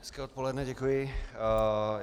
Hezké odpoledne, děkuji.